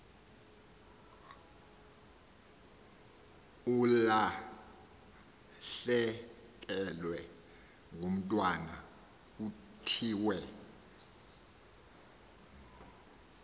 ulahlekelwe ngumntwana kuthiwe